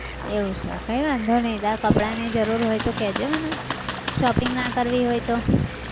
એવું છે કઈ વાંધો નહિ તારે કપડાની જરૂર હોય તો કહેજે મને shopping ના કરવી હોય તો